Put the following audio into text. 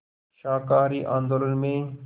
शाकाहारी आंदोलन में